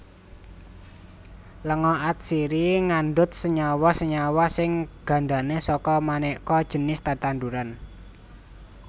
Lenga atsiri ngandhut senyawa senyawa sing gandané saka manéka jinis tetanduran